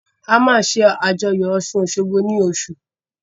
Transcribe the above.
A máa ṣé àjọyọ̀ ọ̀ṣun-òṣogbo nínu oṣù